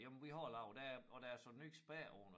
Jamen vi har lavet der og der er sat ny spærre på den